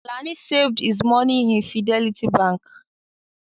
Alani saved his money in Fidelity Bank